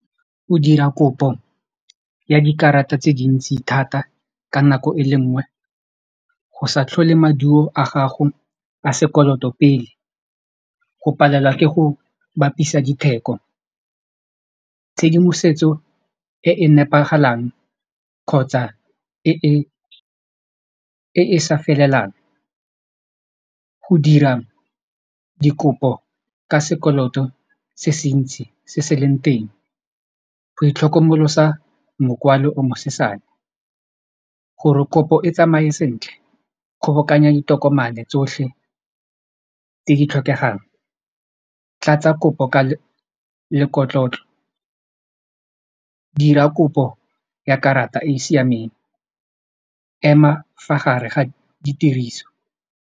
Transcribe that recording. Go dira kopo ya dikarata tse dintsi thata ka nako e le nngwe go sa tlhole maduo a gago a sekoloto pele go palelwa ke go bapisa ditheko tshedimosetso e e nepagalang kgotsa e e sa felelang go dira dikopo ka sekoloto se se ntsi se se leng teng go itlhokomolosa mokwalo o mosesane gore kopo e tsamaye sentle kgobokanya ditokomane tsotlhe tse di tlhokegang tlatsa kopo ka lekotlotlo dira kopo ya karata e e siameng ema fa gare ga ditiriso.